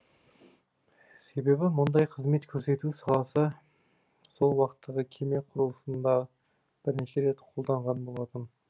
себебі мұндай қызмет көрсету саласы сол уақыттағы кеме құрылысында бірінші рет қолданған болатын